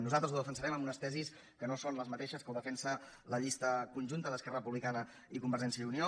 nosaltres ho defensarem amb unes tesis que no són les mateixes amb què ho defensa la llista conjunta d’esquerra republicana i convergència i unió